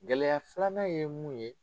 Gɛlɛya filanan ye mun ye